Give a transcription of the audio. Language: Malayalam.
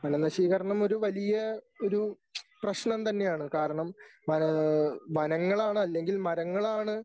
വനനശീകരണം ഒരു വലിയ ഒരു പ്രശ്നം തന്നെയാണ് കാരണം വന ഏഹ് വനങ്ങളാണ് അല്ലെങ്കിൽ മരങ്ങളാണ്